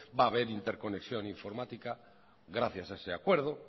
va a ver interconexión informática gracias a ese acuerdo